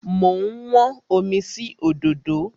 Mo ń wọ́n omi sí òdòdó.